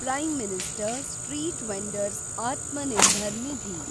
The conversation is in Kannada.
prime minister street vendor's Atmanirbhar Nidhi